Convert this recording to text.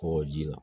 K'o ji la